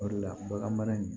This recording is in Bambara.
O de la bagan mara in